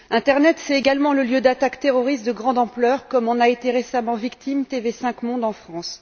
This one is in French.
L'internet est également le lieu d'attaques terroristes de grande ampleur, comme en a récemment été victime TV5 Monde, en France.